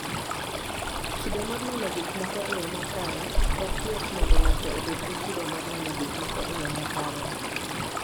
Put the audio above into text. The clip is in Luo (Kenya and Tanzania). Kido mar neno gik moko e yo makare: Ok yot mondo ng'ato obed gi kido mar neno gik moko e yo makare.